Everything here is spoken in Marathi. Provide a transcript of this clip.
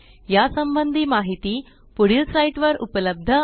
या संबंधी माहिती पुढील साईटवर उपलब्ध आहे